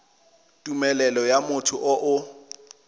tumelelo ya motho yo o